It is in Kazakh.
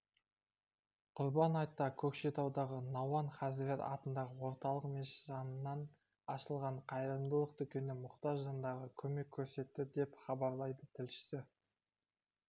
құрбан айтта көкшетаудағы науан хазірет атындағы орталық мешіт жанынан ашылған қайырымдылық дүкені мұқтаж жандарға көмек көрсетті деп хабарлайды тілшісі